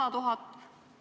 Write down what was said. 100 000?